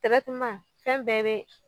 fɛn bɛɛ be